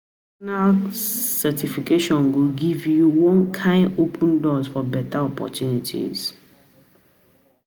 Professional certification go give you one kyn open doors for beta opportunities.